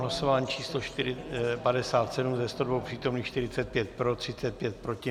Hlasování číslo 57, ze 102 přítomných 45 pro, 35 proti.